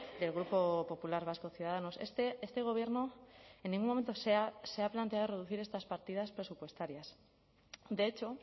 del grupo popular vasco ciudadanos este gobierno en ningún momento se ha planteado reducir estas partidas presupuestarias de hecho